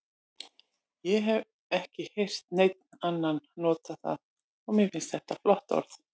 Ég hef ekki heyrt neinn annan nota það og mér finnst þetta flott orð.